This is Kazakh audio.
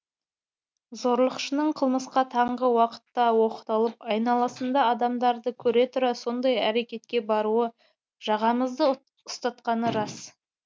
зорлықшының қылмысқа таңғы уақытта оқталып айналасында адамдарды көре тұра сондай әрекетке баруы жағамызды ұстатқаны рас